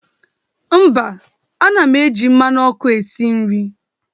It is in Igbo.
mba, ana m eji mmanụ ọkụ esi nri.